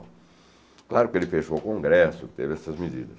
Claro que ele fechou o Congresso, teve essas medidas.